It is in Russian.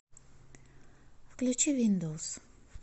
включи виндоус